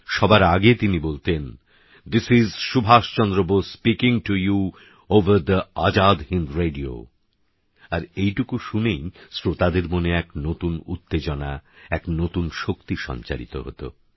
সবার আগে তিনি বলতেন this is Subhas Chandra Bose speaking to you over the Azad Hind radio আর এইটুকু শুনেই শ্রোতাদের মনে এক নতুন উত্তেজনা এক নতুন শক্তি সঞ্চারিত হত